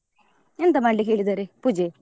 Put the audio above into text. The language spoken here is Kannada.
ಎಂತ ಮಾಡ್ಲಿಕ್ಕೆ ಹೇಳಿದಾರೆ ಪೂಜೆ?